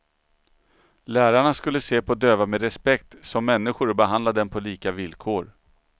Lärarna skulle se på döva med respekt, som människor och behandla dem på lika villkor.